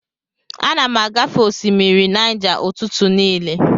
Ana m agafe osimiri Naija ụtụtụ niile.